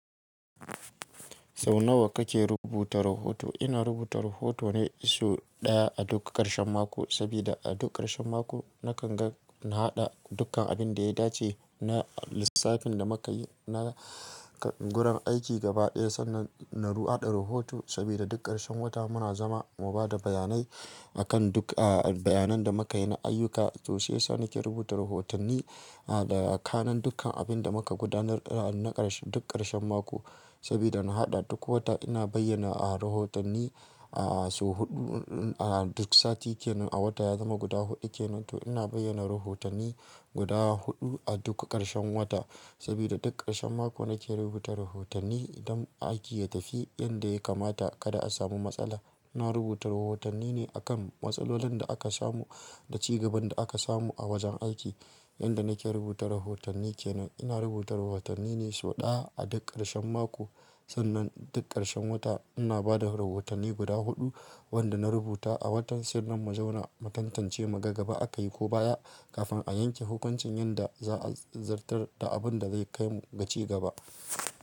Sau nawa kake rubuta rahoto? Ina rubuta rahoto ne sau ɗaya a duk ƙarshen mako, sabida a duk ƙarshen mako nakan ga na haɗa dukkan abin da ya dace na lissafin da muka yi na gurin aiki gaba ɗaya sannan na haɗa rahoto sabida duk ƙarshen wata muna zama mu bada bayanai akan duk, ah, bayanan da muka yi na ayyuka. To sai sa na nake rubuta rahotanni, ah, da kanen dukkan abin da muka gudanar na ƙarshe duk ƙarshen mako. Sabida na haɗa duk wata ina bayyana a rahotanni, ah, sau huɗu, duk sati kenan a wata ya zama guda huɗu kenan, to ina bayyana rahotanni guda huɗu a duk ƙarshen wata. Sabida duk ƙarshen mako nake rubuta rahotanni don aiki ya tafi inda ya kamata kada a samu matsala. Na rubuta rahotanni ne a kan matsalolin da aka samu da ci gaban da aka samu a wajen aiki. Inda nake rubuta rahotanni kenan ina rubuta rahotanni ne sau ɗaya a duk ƙarshen mako sannan duk ƙarshen wata ina bada rahotanni guda huɗu wanda na rubuta a watan sannan mu zauna mu tantance mu ga gaba aka yi ko baya kafin a yanke hukuncin yanda za a zartar da abin da zai kai ga ci gaba.